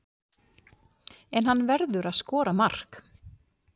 En hann verður að skora mark.